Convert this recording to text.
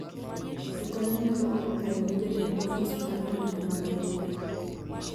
Jokanyo nyalo oro kwayo ne Jatend Ofis mar andika mag lope.